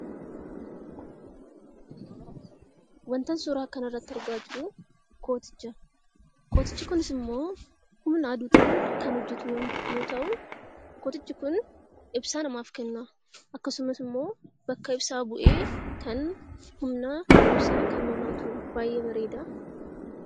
Wantan suuraa kanarratti argaa jiru kooticha. Kootichi kunis ammoo humna aduutiin kan hojjatu yoo ta'u, kootichi kun ibsaa namaaf kenna. Akkasumas immoo bakka ibsaa bu'ee kan humna ibsaa nuuf laatu baay'ee bareeda.